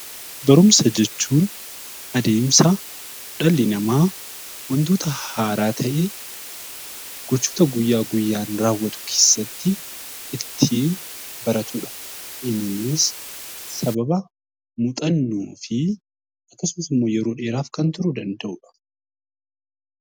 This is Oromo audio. Barumsa jechuun adeemsa dhalli namaa wantoota haaraa ta'e gochoota guyyaa guyyaan raawwatu keessatti ittiin baratudha. Innis sababa muuxannoo fi akkasumas immoo yeroo dheeraaf turuu kan danda'udha